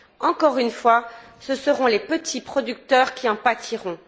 Encore une fois, ce seront les petits producteurs qui en pâtiront.